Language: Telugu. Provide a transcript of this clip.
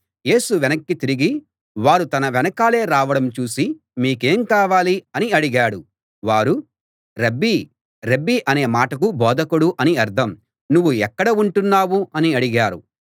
యేసు వెనక్కి తిరిగి వారు తన వెనకాలే రావడం చూసి మీకేం కావాలి అని అడిగాడు వారు రబ్బీ రబ్బీ అనే మాటకు బోధకుడు అని అర్థం నువ్వు ఎక్కడ ఉంటున్నావ్ అని అడిగారు